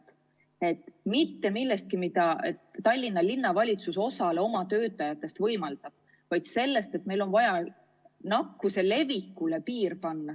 Ma ei räägi sellest, mida Tallinna Linnavalitsus osale oma töötajatest võimaldab, vaid sellest, et meil on vaja nakkuse levikule piir panna.